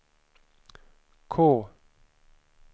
K